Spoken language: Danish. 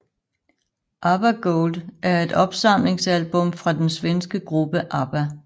ABBA Gold er et opsamlingsalbum fra den svenske gruppe ABBA